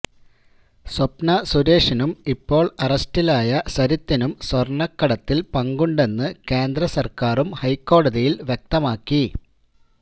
സ്വപ്ന സുരേഷിനും ഇപ്പോൾ അറസ്റ്റിലായ സരിത്തിനും സ്വർണക്കടത്തിൽ പങ്കുണ്ടെന്ന് കേന്ദ്ര സർക്കാരും ഹൈക്കോടതിയിൽ വ്യക്തമാക്കി